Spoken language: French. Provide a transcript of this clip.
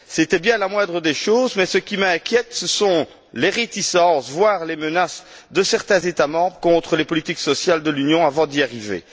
C'était bien la moindre des choses, mais ce qui m'inquiète, ce sont les réticences, voire les menaces de certains États membres contre les politiques sociales de l'Union avant d'y arriver.